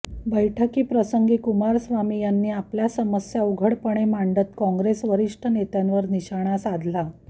बैठकीप्रसंगी कुमारस्वामी यांनी आपल्या समस्या उघडपणे मांडत काँग्रेस वरिष्ठ नेत्यांवर निशाणा साधला